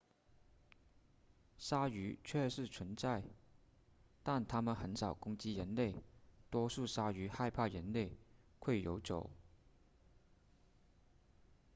鲨鱼确实存在但它们很少攻击人类多数鲨鱼害怕人类会游走